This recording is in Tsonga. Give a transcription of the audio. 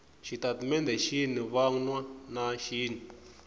xitatimendhe xin wana na xin